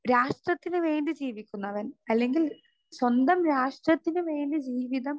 speaker 2 രാഷ്ട്രത്തിന് വേണ്ടി ജീവിക്കുന്നവൻ അല്ലെങ്കിൽ സ്വന്തം രാഷ്ട്രത്തിന് വേണ്ടി ജീവിതം